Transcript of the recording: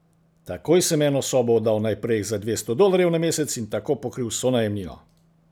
Takoj sem eno sobo oddal naprej za dvesto dolarjev na mesec in tako pokril vso najemnino.